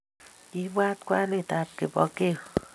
Kiibwat kwanitab Kipokeo